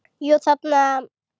Jú, þarna!